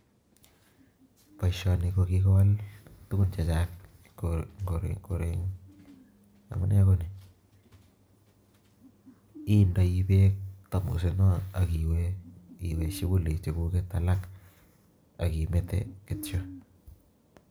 Boishoni ko kikowal tuguuk chechang, amune ko nii indoi beek thamosit non ak iwee shuguli chekuket alak ak imete kityok